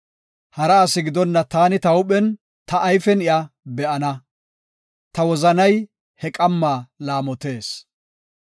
Hara asi gidonna taani ta huuphen, ta ayfen iya be7ana; ta wozanay he qamma laamotees.